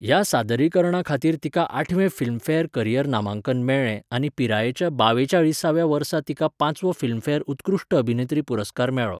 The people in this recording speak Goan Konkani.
ह्या सादरीकरणा खातीर तिका आठवें फिल्मफेअर करिअर नामांकन मेळ्ळें आनी पिरायेच्या बावेचाळीसव्या वर्सा तिका पांचवो फिल्मफेअर उत्कृश्ट अभिनेत्री पुरस्कार मेळ्ळो.